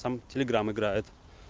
там телеграмм играет